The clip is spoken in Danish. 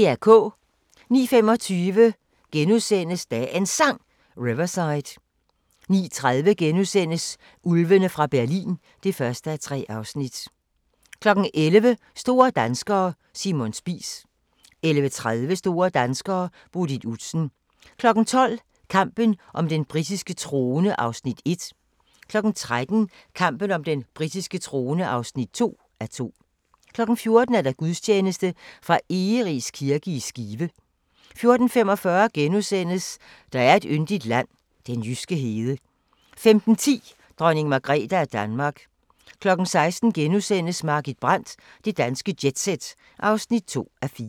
09:25: Dagens Sang: Riverside * 09:30: Ulvene fra Berlin (1:3)* 11:00: Store danskere: Simon Spies 11:30: Store danskere: Bodil Udsen 12:00: Kampen om den britiske trone (1:2) 13:00: Kampen om den britiske trone (2:2) 14:00: Gudstjeneste fra Egeris kirke i Skive 14:45: Der er et yndigt land – den jyske hede * 15:10: Dronning Margrethe af Danmark 16:00: Margit Brandt – Det danske jet-set (2:4)*